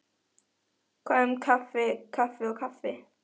Hvað um kaffi kaffi og kaffi.